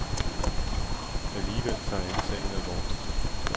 Alligevel tager alle sagen alvorligt.